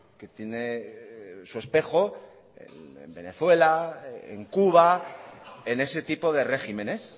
que tiene su espejo en venezuela en cuba en ese tipo de regímenes